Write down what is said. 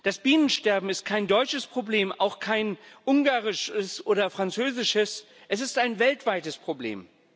Das Bienensterben ist kein deutsches Problem, auch kein ungarisches oder französisches Es ist ein weltweites Problem.